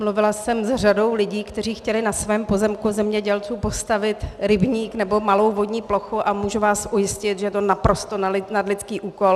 Mluvila jsem s řadou lidí, kteří chtěli na svém pozemku zemědělcům postavit rybník nebo malou vodní plochu, a můžu vás ujistit, že je to naprosto nadlidský úkol.